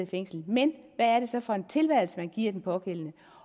fængslet men hvad er det så for en tilværelse man giver den pågældende